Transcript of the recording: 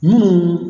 Mun